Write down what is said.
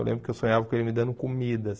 Eu lembro que eu sonhava com ele me dando comida.